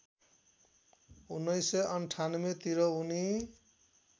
१९९८ तिर उनी